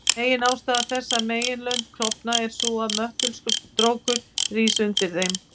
Meginástæða þess að meginlönd klofna er sú að möttulstrókur rís undir þeim.